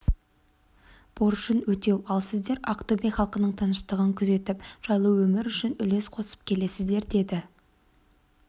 борышын өтеу ал сіздер ақтөбе халқының тыныштығын күзетіп жайлы өмір үшін үлес қосып келесіздер деді